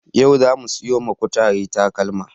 Yau zamu siyo ma kutare takalma